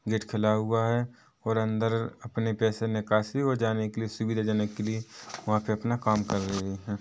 Gate खुला हुआ है और अंदर अपने पैसे निकासी और जाने के लिए सुविधाजनक के लिए वहाँ पे अपना काम कर रहे है।